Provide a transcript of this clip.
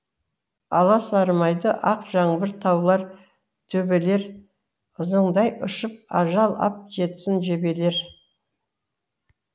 аласармайды ақ жаңбыр таулар төбелер ызыңдай ұшып ажал ап жетсін жебелер